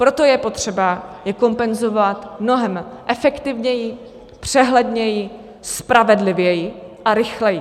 Proto je potřeba je kompenzovat mnohem efektivněji, přehledněji, spravedlivěji a rychleji.